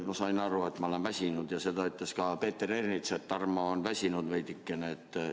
Ma sain aru, et ma olen väsinud, ja seda ütles ka Peeter Ernits, et Tarmo on väsinud veidikene.